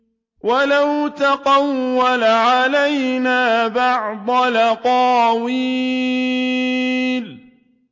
وَلَوْ تَقَوَّلَ عَلَيْنَا بَعْضَ الْأَقَاوِيلِ